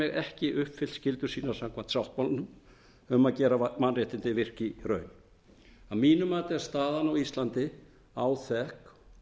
ekki uppfyllt skyldur sínar samkvæmt sáttmálanum um að gera mannréttindin virk í raun að mínu mati er staðan á íslandi áþekk